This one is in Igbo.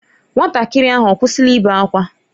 Nwatakịrị ahụ ọ kwụsịla ibe ákwá?